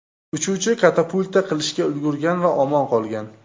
Uchuvchi katapulta qilishga ulgurgan va omon qolgan.